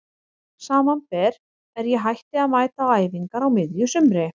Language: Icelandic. Samanber er ég hætti að mæta á æfingar á miðju sumri.